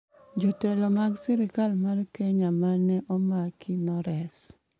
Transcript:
"Jotelo mag sirkal mar Kenya ma ne omaki nores"